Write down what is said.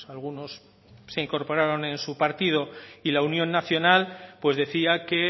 algunos se incorporaron en su partido y la unión nacional pues decía que